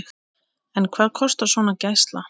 En hvað kostar svona gæsla?